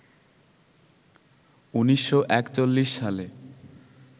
১৯৪১ সালে